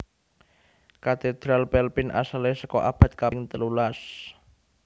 Katédral Pelpin asalé saka abad kaping telulas